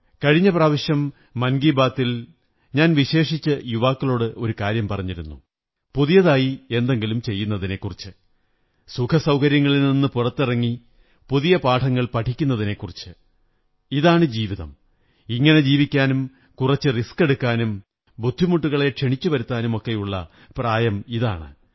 കഴിഞ്ഞ പ്രാവശ്യം മന്കീസ ബാത്തിൽ ഞാൻ വിശേഷിച്ചു യുവാക്കളോട് ഒരു കാര്യം പറഞ്ഞിരുന്നു പുതിയതായി എന്തെങ്കിലും ചെയ്യുന്നതിനെക്കുറിച്ച് സുഖസൌകര്യങ്ങളിൽ നിന്നു പുറത്തിറങ്ങി പുതിയ പാഠങ്ങൾ പഠിക്കുന്നതിനെക്കുറിച്ച് ഇതാണ് ജീവിതം ഇങ്ങനെ ജീവിക്കാനും കുറച്ച് വെല്ലുവിളികളേറ്റെടുക്കാനും ബുദ്ധിമുട്ടുകളെ ക്ഷണിച്ചുവരുത്താനുമൊക്കെയുള്ള പ്രായമിതാണ്